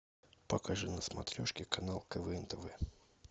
покажи на смотрешке канал квн тв